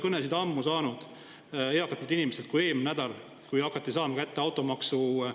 Ma ei ole ammu saanud nii palju kõnesid eakatelt inimestelt kui eelmisel nädalal, kui hakati saama kätte automaksuteatisi.